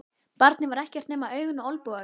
Barnið var ekkert nema augun og olnbogarnir.